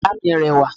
yara mi rẹwa